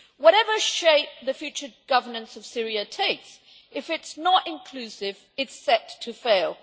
Whatever shape the future governance of Syria takes, if it is not inclusive, it is set to fail.